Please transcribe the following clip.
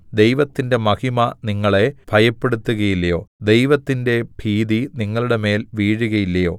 ദൈവത്തിന്റെ മഹിമ നിങ്ങളെ ഭയപ്പെടുത്തുകയില്ലയോ ദൈവത്തിന്റെ ഭീതി നിങ്ങളുടെമേൽ വീഴുകയില്ലയോ